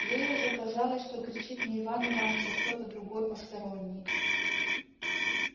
ей уже казалось что кричит не иван иваныч а кто-то другой посторонний